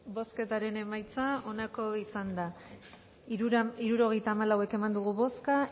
bozketaren emaitza onako izan da hirurogeita hamalau eman dugu bozka